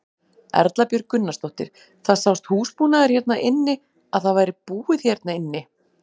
Erla Björg Gunnarsdóttir: Það sást húsbúnaður hérna inni að það væri búið hérna inni?